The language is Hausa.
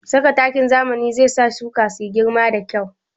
Saka takin zamani zai sa shuka su girɓa da kyau